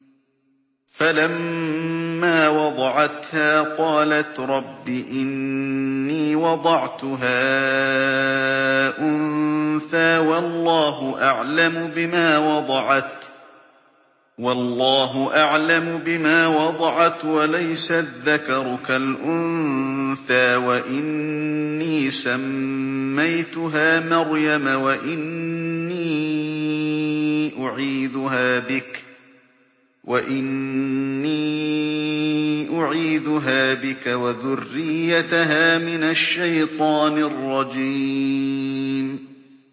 فَلَمَّا وَضَعَتْهَا قَالَتْ رَبِّ إِنِّي وَضَعْتُهَا أُنثَىٰ وَاللَّهُ أَعْلَمُ بِمَا وَضَعَتْ وَلَيْسَ الذَّكَرُ كَالْأُنثَىٰ ۖ وَإِنِّي سَمَّيْتُهَا مَرْيَمَ وَإِنِّي أُعِيذُهَا بِكَ وَذُرِّيَّتَهَا مِنَ الشَّيْطَانِ الرَّجِيمِ